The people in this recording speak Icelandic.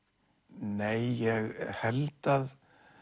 nei ég held að